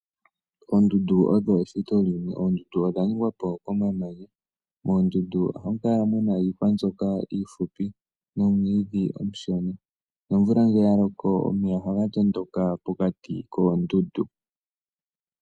Oondundu odho eshito limwe. Oondundu odha ningwa po komamanya. Moondundu ohamu kala mu na iihwa mbyoka iifupi nomwiidhi omushona nomvula ngele ya loko omeya ohaga tondoka pokati koondundu.